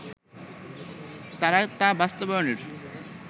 তারা তা বাস্তবায়নের